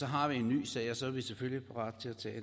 har vi en ny sag og så er vi selvfølgelig parate til at